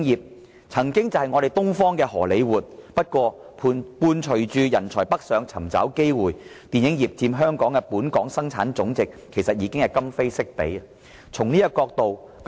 香港曾經是東方的荷李活，不過隨着人才北上尋找機會，電影業佔香港的本地生產總值的份額其實已經今非昔比。